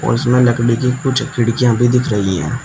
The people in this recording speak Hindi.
और इसमें लकड़ी की कुछ खिड़कियां भी दिख रही हैं।